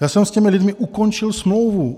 Já jsem s těmi lidmi ukončil smlouvu.